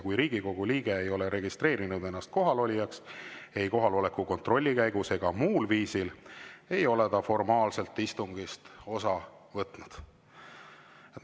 Kui Riigikogu liige ei ole registreerinud ennast kohalolijaks ei kohaloleku kontrolli käigus ega muul viisil, ei ole ta formaalselt istungist osa võtnud.